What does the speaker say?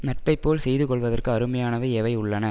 நட்பைப்போல் செய்து கொள்வதற்கு அருமையானவை எவை உள்ளன